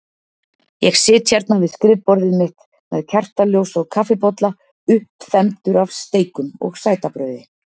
Ég sit hérna við skrifborðið mitt með kertaljós og kaffibolla, uppþembdur af steikum og sætabrauði.